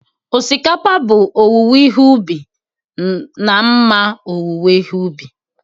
Osikapa bụ owuwe ihe ubi na mma owuwe ihe ubi